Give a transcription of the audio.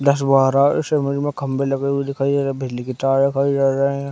दस-बारह इस इमेज में खंबे लगे हुए दिखाई दे रहे है बिजली की तार दिखाई दे रहे है।